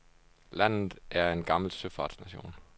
Landet er en gammel søfartsnation.